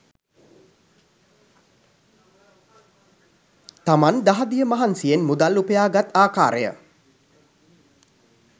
තමන් දහදිය මහන්සියෙන් මුදල් උපයාගත් ආකාරය